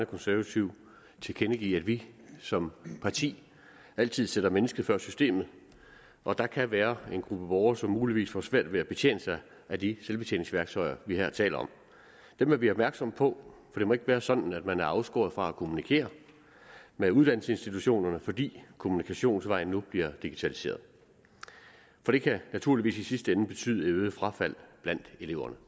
konservative tilkendegive at vi som parti altid sætter mennesket før systemet og at der kan være en gruppe borgere som muligvis får svært ved at betjene sig af de selvbetjeningsværktøjer vi her taler om dem er vi opmærksomme på for det må ikke være sådan at man er afskåret fra at kommunikere med uddannelsesinstitutionerne fordi kommunikationsvejen nu bliver digitaliseret for det kan naturligvis i sidste ende betyde et øget frafald blandt eleverne